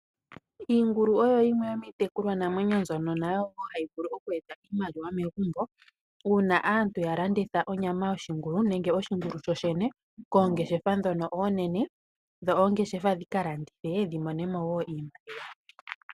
Iingulu oyo yimwe yomiitekulwanamwenyo mbyono nayo wo hayi vulu oku eta iimaliwa megumbo uuna wo ya landitha onyama yoshingulu nenge oshingulu sho shene koongeshefa ndhono oonene, dho oongeshefa dhi ka landithe dhi mone mo wo iimaliwa.